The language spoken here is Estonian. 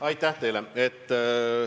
Aitäh teile!